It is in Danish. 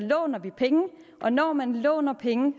låner vi penge og når man låner penge